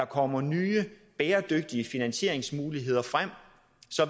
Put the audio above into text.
kommer nye bæredygtige finansieringsmuligheder